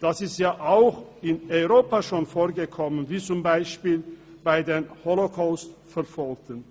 Das ist auch bereits in Europa vorgekommen, beispielsweise bei den Holocaust-Verfolgten.